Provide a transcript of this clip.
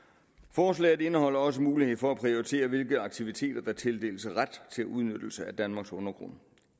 forslaget indeholder også mulighed for at prioritere hvilke aktiviteter der tildeles ret til udnyttelse af danmarks undergrund